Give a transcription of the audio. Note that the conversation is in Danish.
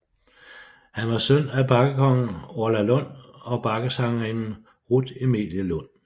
Han var søn af bakkekongen Orla Lund og bakkesangerinden Rut Emilie Lund